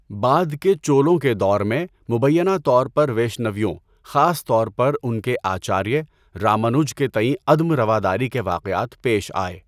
بعد کے چولوں کے دور میں، مبینہ طور پر ویشنویوں، خاص طور پر ان کے آچاریہ، رامانج کے تئیں عدم رواداری کے واقعات پیش آئے۔